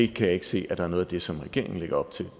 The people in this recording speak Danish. kan ikke se at noget af det som regeringen lægger op til